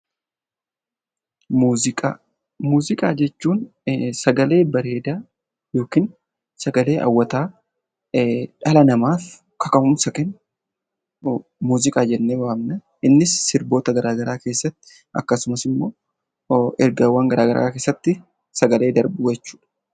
Muuziqaa jechuun sagalee bareedaa yookiin sagalee hawwataa dhala namaaf kaka'umsa kennu muuziqaa jennee waamna. Innis sirboota garaa garaa keessatti akkasumas immoo ergaawwan garaa garaa keessatti sagalee darbu jechuudha.